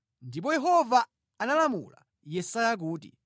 Ndipo Yehova analamula Yesaya kuti: